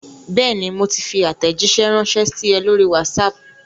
Bẹ́ẹ̀ni, mo ti fi àtẹ̀jíṣé ránsẹ́ sí ẹ lórí WhatsApp